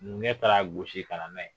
Numukɛ taar'a gosi ka na n'a ye